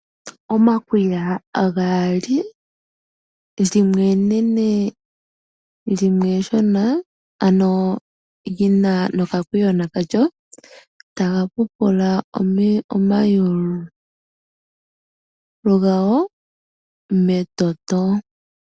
Omakwiga gaali, limwe enene limwe eshona, ano lyina nokakwiyona kalyo taga pupula omayulu gago metoto.